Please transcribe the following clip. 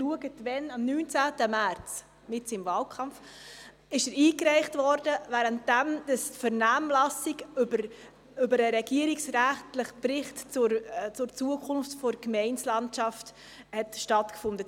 Er wurde am 19. März, mitten im Wahlkampf, eingereicht, während dem die Vernehmlassung zum regierungsrätlichen Bericht über die Zukunft der Gemeindelandschaft stattfand.